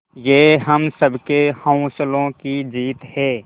ये हम सबके हौसलों की जीत है